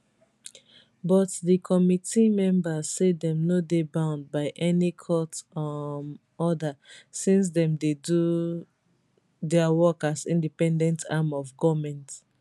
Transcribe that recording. but di committee members say dem no dey bound by any court um order since dem dey do dia work as independent arm of goment